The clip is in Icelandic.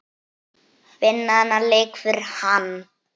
Vinna þennan leik fyrir hann!